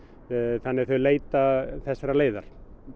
þannig að þeir leita þessarar leiðar